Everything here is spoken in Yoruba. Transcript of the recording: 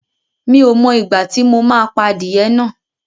Mi ò mọ ìgbà tí mo máa pa adìyẹ náà